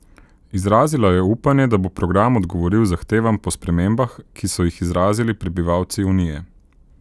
Izrazila je upanje, da bo program odgovoril zahtevam po spremembah, ki so jih izrazili prebivalci unije.